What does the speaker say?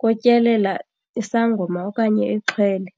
kotyelela isangoma okanye ixhwele.